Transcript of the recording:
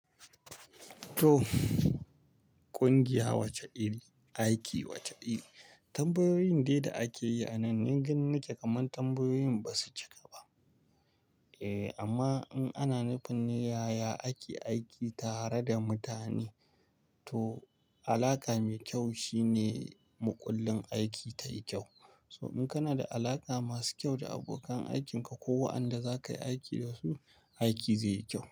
To, ƙungiya wacce iri, aiki wace iri, tambayoyin dai da akeyi a nan, ni ganinake kaman tambayoyin basu cika ba. Eh amma in ana nufin ne yaya ake aiki tare da mutane to alaka mai kyau shine muƙullin aiki tayi kyau. To in kana da alaka masu kyau da abokan aikinka ko wa'anda zakayi aiki dasu, aiki zeyi kyau.